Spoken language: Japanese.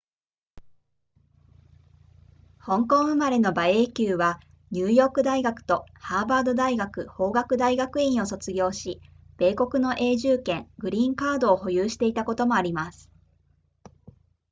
香港生まれの馬英九はニューヨーク大学とハーバード大学法学大学院を卒業し米国の永住権グリーンカードを保有していたこともあります